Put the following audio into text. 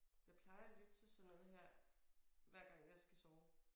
Jeg plejer at lytte til sådan noget her hver gang jeg skal sove